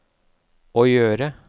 å gjøre